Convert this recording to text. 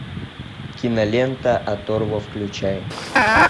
кинолента оторва включай